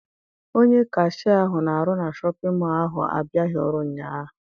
Onye kashịa ahụ na-arụ na Shọpịn mọọ ahụ abịaghị ọrụ ụnyaahụ.